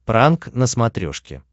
пранк на смотрешке